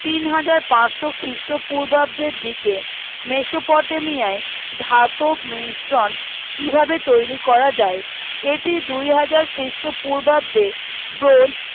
তিন হাজার পার্সো খ্রীষ্ট পূর্বাব্দের দিকে মেসোপটেমিয়ায় ধাতব মিশ্রণ কি ভাবে তৈরী করা যায় এটি দু হাজার খ্রীষ্ট পূর্বাব্দে